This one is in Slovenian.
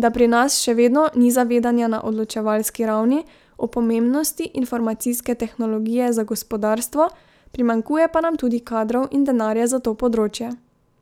da pri nas še vedno ni zavedanja na odločevalski ravni o pomembnosti informacijske tehnologije za gospodarstvo, primanjkuje pa nam tudi kadrov in denarja za to področje.